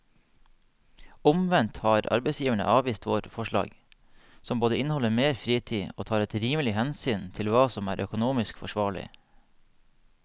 Omvendt har arbeidsgiverne avvist våre forslag som både inneholder mer fritid og tar et rimelig hensyn til hva som er økonomisk forsvarlig.